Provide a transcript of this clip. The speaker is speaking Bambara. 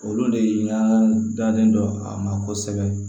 Olu de y'an dalen don a ma kosɛbɛ